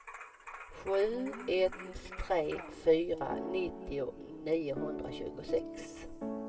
sju ett tre fyra nittio niohundratjugosex